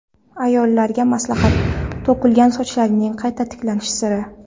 Ayollarga maslahat: to‘kilgan sochlarning qayta tiklanish siri.